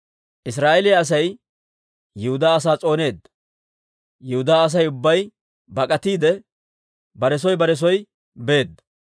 Israa'eeliyaa Asay Yihudaa asaa s'ooneedda; Yihudaa Asay ubbay bak'atiide, bare soo bare soo beedda.